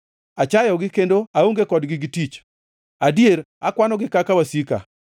Achayogi kendo aonge kodgi gi tich adier akwanogi kaka wasika.